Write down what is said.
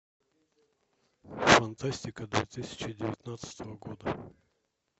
фантастика две тысячи девятнадцатого года